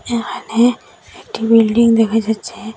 এখানে একটি বিল্ডিং দেখা যাচ্ছে।